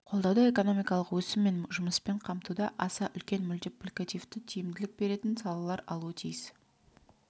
қолдауды экономикалық өсім мен жұмыспен қамтуда аса үлкен мультипликативті тиімділік беретін салалар алуы тиіс